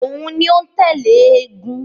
Òun ni ó ń tẹ̀lé eégún